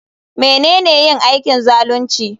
Menene yin aikin zalunci?